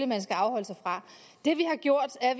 man skal afholde sig fra det vi har gjort er